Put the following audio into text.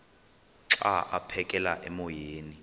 xa aphekela emoyeni